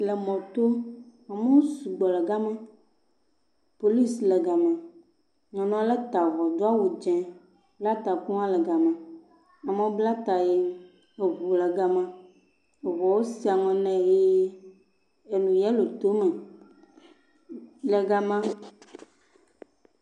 Le mɔto, amewo sugbɔ ɖe gama, polisi le gama, nyɔnu ale ta avɔ do awu dzɛ̃bla taku hã le gama, amewo bla ta hee, eŋu le gamale hee enu yellow to eme